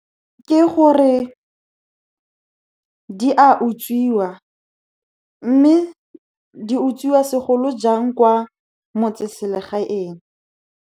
Ke gore di a utswiwa, mme di utswiwa segolojang kwa motseselegaeng.